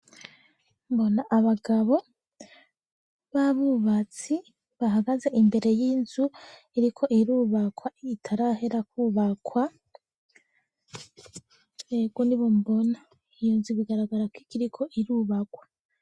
Mbona abagabo b'abubatsi, bahagaze imbere y'inzu iriko irubakwa, itarahera kubakwa, ego nibo mbona iyunzu bigaragara ko ikiriko irubakwa.